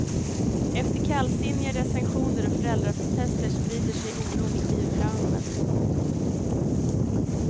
Efter kallsinniga recensioner och föräldraprotester sprider sig oron i skivbranschen. punkt